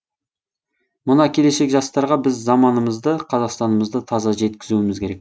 мына келешек жастарға біз заманымызды қазақстанымызды таза жеткізуіміз керек